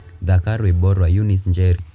Thaka Rwĩmbo rwa eunice njeri